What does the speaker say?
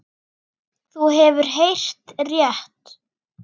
Þú hefur heyrt rétt.